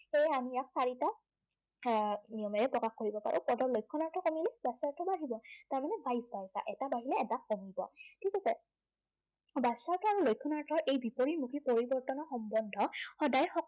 সেয়ে আমি ইয়াক চাৰিটা আহ নিয়মেৰে প্ৰকাশ কৰিব পাৰো। আৰু পদৰ লক্ষণাৰ্থক আমি আহিব। তাৰমানে, এটা বাঢ়িলে এটা কমিব, ঠিক আছে। বাচ্য়াৰ্থ আৰু লক্ষণানাৰ্থৰ এই বিপৰীতমুখী পৰিৱৰ্তনৰ সম্বন্ধ সদায়